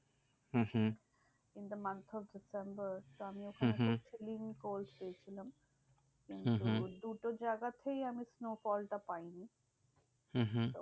Hmm hmm in the month of December আমি ওখানে হম হম গেছিলাম। হম হম দুটো জায়গাতেই আমি snowfall টা পাইনি। হম হম